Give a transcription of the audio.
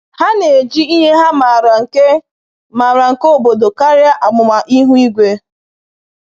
Ha na-eji ihe ha maara nke maara nke obodo karịa amụma ihu igwe.